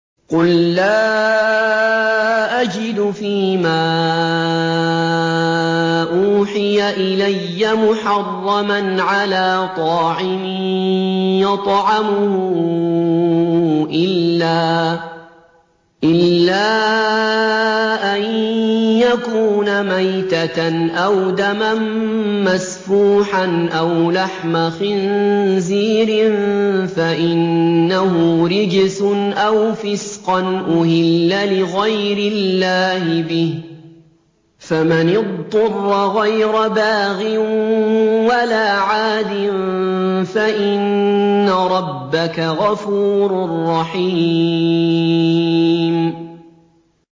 قُل لَّا أَجِدُ فِي مَا أُوحِيَ إِلَيَّ مُحَرَّمًا عَلَىٰ طَاعِمٍ يَطْعَمُهُ إِلَّا أَن يَكُونَ مَيْتَةً أَوْ دَمًا مَّسْفُوحًا أَوْ لَحْمَ خِنزِيرٍ فَإِنَّهُ رِجْسٌ أَوْ فِسْقًا أُهِلَّ لِغَيْرِ اللَّهِ بِهِ ۚ فَمَنِ اضْطُرَّ غَيْرَ بَاغٍ وَلَا عَادٍ فَإِنَّ رَبَّكَ غَفُورٌ رَّحِيمٌ